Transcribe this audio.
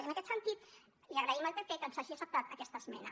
i en aquest sentit li agraïm al pp que ens hagi acceptat aquesta esmena